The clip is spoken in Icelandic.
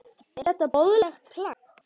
Er þetta boðlegt plagg?